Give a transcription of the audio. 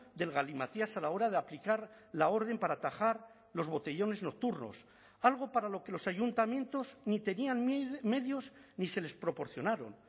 del galimatías a la hora de aplicar la orden para atajar los botellones nocturnos algo para lo que los ayuntamientos ni tenían medios ni se les proporcionaron